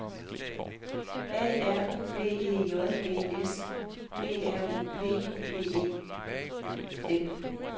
A R B E J D S G R U P P E N